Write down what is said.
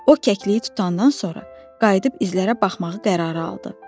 O kəkliyi tutandan sonra qayıdıb izlərə baxmağı qərarı aldı.